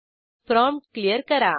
prompt clear करा